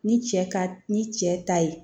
Ni cɛ ka ni cɛ ta ye